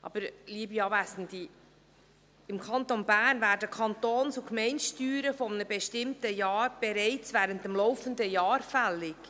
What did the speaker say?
Aber, liebe Anwesende, im Kanton Bern werden die Kantons- und Gemeindesteuern eines bestimmten Jahres bereits während des laufenden Jahres fällig.